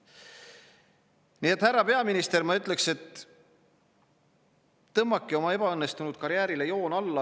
Nii et, härra peaminister, ma ütlen teile: tõmmake oma ebaõnnestunud karjäärile joon alla!